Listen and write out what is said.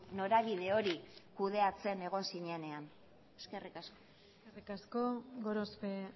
norabide hori kudeatzen egon zinenean eskerrik asko eskerrik asko gorospe